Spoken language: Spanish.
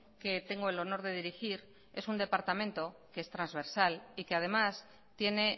que tengo el honor de dirigir es un departamento que es transversal y que además tiene